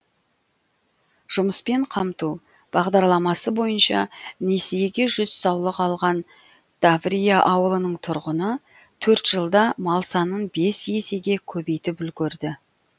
жұмыспен қамту бағдарламасы бойынша несиеге жүз саулық алған таврия ауылының тұрғыны төрт жылда мал санын бес есеге көбейтіп үлгерді